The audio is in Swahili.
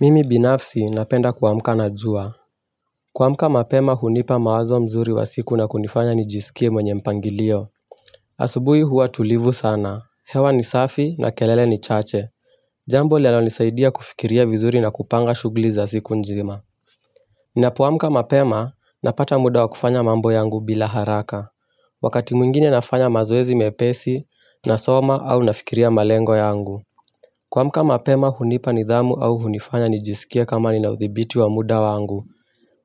Mimi binafsi napenda kuamka na jua kuamka mapema hunipa mawazo mzuri wa siku na kunifanya nijisikie mwenye mpangilio asubuhi huwa tulivu sana, hewa ni safi na kelele ni chache Jambo linalonisaidia kufikiria vizuri na kupanga shughuli za siku nzima Ninapoamka mapema, napata muda wa kufanya mambo yangu bila haraka Wakati mwngine nafanya mazoezi mepesi nasoma au nafikiria malengo yangu kuamka mapema hunipa nidhamu au hunifanya nijisikia kama nina uthibiti wa muda wangu.